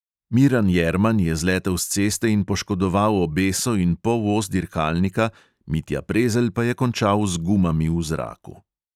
Miran jerman je zletel s ceste in poškodoval obeso in polos dirkalnika, mitja prezelj pa je končal z gumami v zraku.